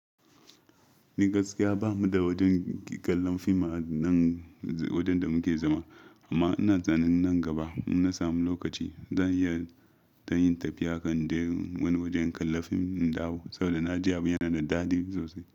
Ni gaskiya bamu da wajen kallan fim a nan wajen da muke zama. Amma ina tunanin nan gaba in na samu lokaci, zan iya ta yin tafiya kan inje wani waje in kalla fim na dawo. Saboda naji abun yana da daɗi isosai.